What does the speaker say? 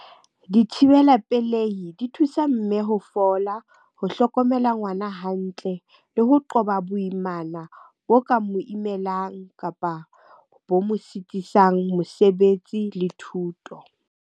Dithibela pelehi di thusa mme ho fola, ho hlokomela ngwana hantle, le ho qoba boimana bo ka mo imelang, kapa bo mo sitisang mosebetsi le thuto.